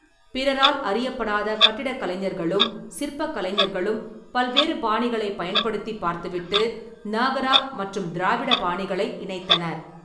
பிறரால் அறியப்படாத கட்டிடக்கலைஞர்களும் சிற்பக்கலைஞர்களும் பல்வேறு பாணிகளைப் பயன்படுத்திப் பார்த்துவிட்டு, நாகரா மற்றும் திராவிட பாணிகளை இணைத்தனர்.